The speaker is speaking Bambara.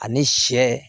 Ani sɛ